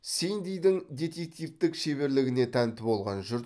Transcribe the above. синдидің детективтік шеберлігіне тәнті болған жұрт